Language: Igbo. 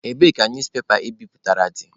Ebee ka newspepa I biputere dị?